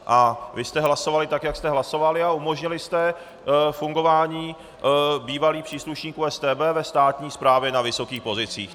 Ale vy jste hlasovali tak, jak jste hlasovali, a umožnili jste fungování bývalých příslušníků StB ve státní správě na vysokých pozicích.